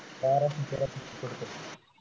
बाराशे तेराशे